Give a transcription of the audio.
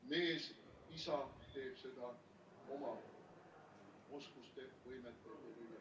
Mees, isa, teeb seda oma oskuste võimete ...